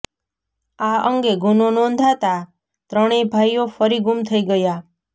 આ અંગે ગુનો નોંધાતા ત્રણેય ભાઈઓ ફરી ગુમ થઈ ગયા